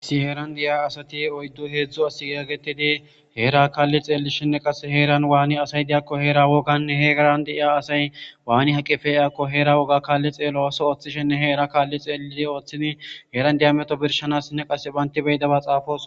Issi heeran deyiya asati oyddu heedzdzu as yaagetidi heera kalli xeellishenne qase heeran waani asay diyakko heera woganne heegan de'iya asay waani aqqi pe'iyakko heera wogga kaalli xeello ooththo ooththishinne heera kaalli xeliidi ooththidi heeran diya meto birshanassinne qasse banti be'idaba xaafosoona